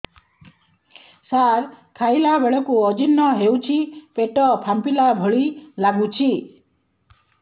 ସାର ଖାଇଲା ବେଳକୁ ଅଜିର୍ଣ ହେଉଛି ପେଟ ଫାମ୍ପିଲା ଭଳି ଲଗୁଛି